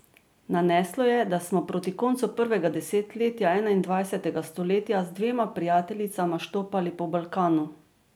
Naneslo je, da smo proti koncu prvega desetletja enaindvajsetega stoletja z dvema prijateljicama štopali po Balkanu.